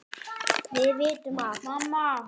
Við vitum að